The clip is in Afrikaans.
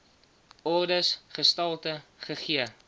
ordes gestalte gegee